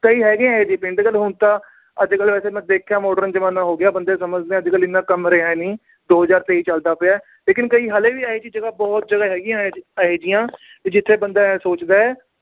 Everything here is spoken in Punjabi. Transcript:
ਕਈ ਹੈਗੇ ਆ ਇਹੋ ਜੇ ਪਿੰਡ, ਚਲ ਹੁਣ ਤਾਂ। ਅੱਜ-ਕੱਲ੍ਹ ਵੇਸੇ ਮੈਂ ਦੇਖਿਆ modern ਜਮਾਨਾ ਹੋ ਗਿਆ, ਬੰਦੇ ਸਮਝਦੇ ਆ, ਅੱਜ-ਕੱਲ੍ਹ ਇੰਨਾ ਕੰਮ ਰਿਹਾ ਨੀ, ਦੋ ਹਜਾਰ ਤੇਈ ਚਲਦਾ ਪਿਆ, ਲੇਕਿਨ ਕਈ ਹਾਲੇ ਵੀ ਹੈਗੇ, ਬਹੁਤ ਜਗ੍ਹਾ ਹੈਗੀਆ ਨੇ ਇਹੋ ਜਿਹੀਆਂ, ਜਿਥੇ ਬੰਦਾ ਸੋਚਦਾ।